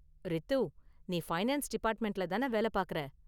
ரித்து நீ ஃபைனான்ஸ் டிபார்ட்மெண்ட்ல தான வேலை பாக்கற?